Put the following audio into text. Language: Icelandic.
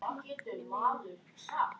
Manar mig.